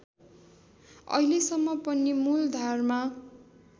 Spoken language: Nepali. अहिलेसम्म पनि मूलधारमा